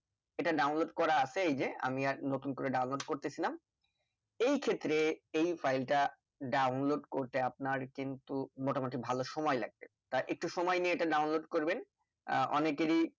এটা download করা আছে এই যে আমি আর নতুন করে download করতেছিনা এই ক্ষেত্রে এই file টা download করতে আপনার কিন্তু মোটামুটি ভালো সময় লাগবে তা একটু সময় নিয়ে এটা download করবেন আহ অনেকেরই